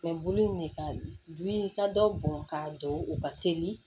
Mɛ bolo in de ka du in ka dɔ bɔn k'a don u ka teli